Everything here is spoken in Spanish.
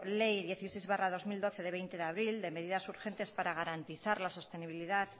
ley dieciséis barra dos mil doce de veinte abril de medidas urgentes para garantizar la sostenibilidad